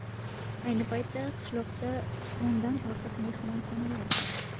Ayni paytda qishloqda o‘ndan ortiq mehmonxonalar bor.